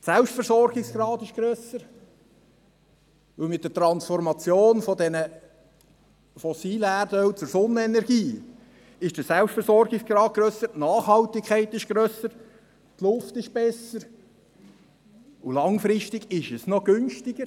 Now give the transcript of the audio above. Der Selbstversorgungsgrad wäre grösser, denn mit der Transformation von den fossilen Brennstoffen zur Sonnenenergie wird der Selbstversorgungsgrad grösser, die Nachhaltigkeit ist grösser, die Luft ist besser, und langfristig ist es auch kostengünstiger.